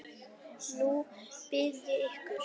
Nú bið ég ykkur